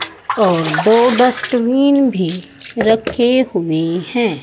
और दो डस्टबिन भी रखे हुए हैं।